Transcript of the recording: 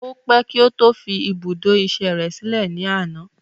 O pé kí ó tó fi ibùdó ìṣe rẹ sílè ní àná.